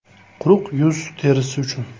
Quruq yuz terisi uchun .